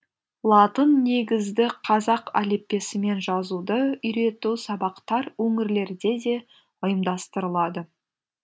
латын негізді қазақ әліппесімен жазуды үйрету сабақтар өңірлерде де ұйымдастырылады